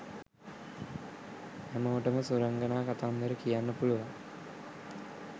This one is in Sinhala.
හැමෝටම සුරංගනා කතාන්තර කියන්න පුළුවන්.